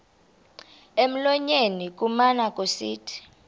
emlonyeni kumane kusithi